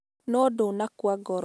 Nũ ndanakua ngoro .